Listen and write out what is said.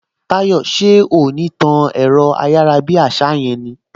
Táyò, ṣé o ò ní tán ẹ̀rọ ayárabíàṣá yẹn ni!